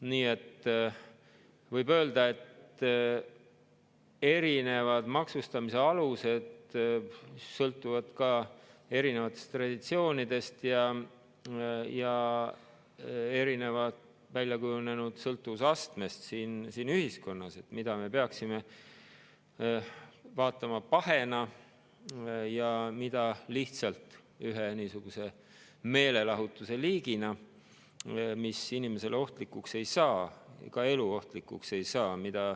Nii et võib öelda, et erinevad maksustamise alused sõltuvad erinevatest traditsioonidest ja erinevalt väljakujunenud sõltuvusastmest siin ühiskonnas, et mida me peaksime vaatama pahena ja mida lihtsalt ühe meelelahutuse liigina, mis inimesele ohtlikuks ei saa, ka eluohtlikuks ei saa.